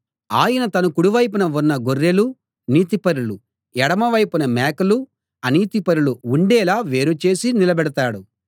ఆయన తన కుడి వైపున గొర్రెలు నీతిపరులు ఎడమవైపున మేకలు అనీతిపరులు ఉండేలా వేరు చేసి నిలబెడతాడు